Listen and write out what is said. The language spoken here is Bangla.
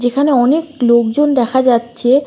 এখানে অনেক লোকজন দেখা যাচ্ছে।